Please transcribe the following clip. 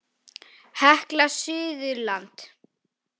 Hekla Suðurland.